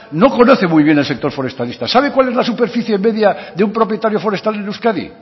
no conoce muy bien el sector forestalista sabe cuál es la superficie media de un propietario forestal en euskadi